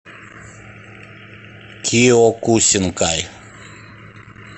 киокусинкай